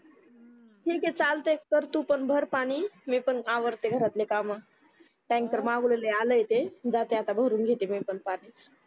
ठीक आहे चालतंय कर तू पण भर पाणी मी पण अवरते घरातली काम tanker मागवलेले आलाय ते जाते आता भरून घेते मी पण पाणी